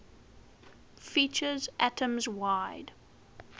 features atoms wide